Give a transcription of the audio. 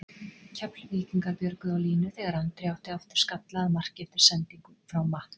Keflvíkingar björguðu á línu þegar Andri átti aftur skalla að marki eftir sendingu frá Matt.